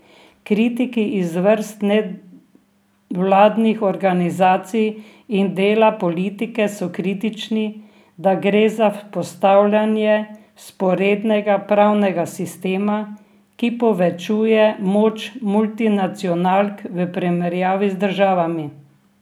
Kritiki iz vrst nevladnih organizacij in dela politike so kritični, da gre za vzpostavljanje vzporednega pravnega sistema, ki povečuje moč multinacionalk v primerjavi z državami.